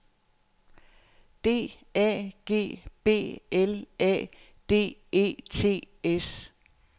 D A G B L A D E T S